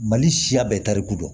Mali siya bɛɛ tariku don